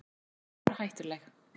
Hún var stórhættuleg.